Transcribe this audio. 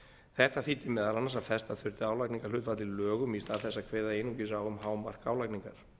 þetta þýddi meðal annars að festa þurfti álagningarhlutfall í lögum í stað þess að kveða einungis á um hámark álagningar